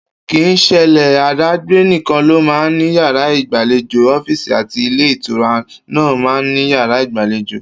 Kì í s̩elé àdágbé nìkan ló máa ń ní yàrá ìgbàlejò, ó̩fíìsì àti ilé-ìtura náà máa ń ní yàrá ìgbàlejò